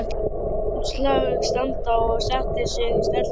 Lét svo slag standa og setti sig í stellingar dömu.